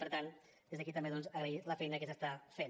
per tant des d’aquí també doncs agrair la feina que s’està fent